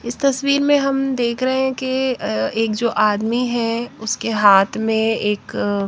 इस तस्वीर में हम देख रहे हैं कि एक जो आदमी है उसके हाथ में एक --